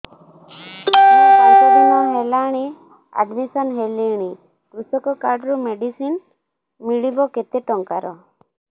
ମୁ ପାଞ୍ଚ ଦିନ ହେଲାଣି ଆଡ୍ମିଶନ ହେଲିଣି କୃଷକ କାର୍ଡ ରୁ ମେଡିସିନ ମିଳିବ କେତେ ଟଙ୍କାର